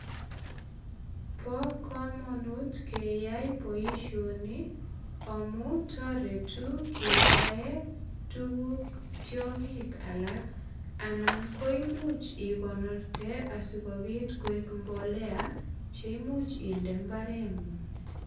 Bo kamanut keyai boisioni amu taretu kebae tuguk tiongik alak anan ko imuch igonorte asigopit koek mbolea che imuch inde imbarengung.